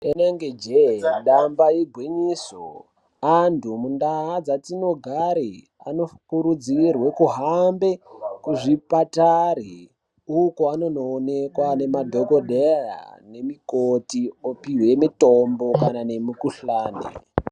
Rinenge jee damba igwinyiso antu mundaa dzatinogare anokurudzirwe kuhambe kuzvipatari uko anonoonekwa nemadhokodheya nemikoti opihwe mitombo kana nemikuhlani